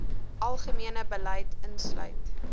algemene beleid insluit